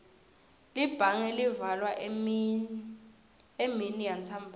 libhange livalwa eminiyantsambama